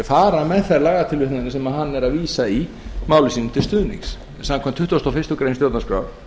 fara með þær lagatilvitnanir sem hann er að vísa í máli sínu til stuðnings samkvæmt tuttugustu og fyrstu grein stjórnarskrár